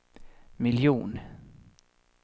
miljon